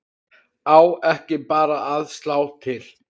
Á ekki bara að slá til?